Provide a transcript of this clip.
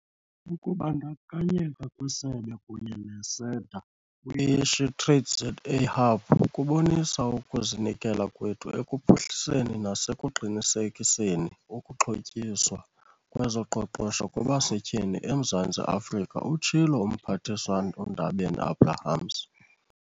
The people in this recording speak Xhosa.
"Ukubandakanyeka kwesebe kunye ne-SEDA kwi-SheTradesZA Hub kubonisa ukuzinikela kwethu ekuphuhliseni nasekuqinisekiseni ukuxhotyiswa kwezoqoqosho kwabasetyhini eMzantsi Afrika," utshilo uMphathiswa uNdabeni-Abrahams.